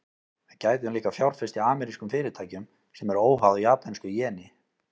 Við gætum líka fjárfest í amerískum fyrirtækjum, sem eru óháð japönsku jeni.